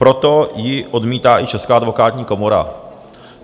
Proto ji odmítá i Česká advokátní komora.